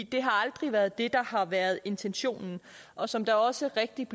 det har aldrig været det der har været intentionen og som det også rigtigt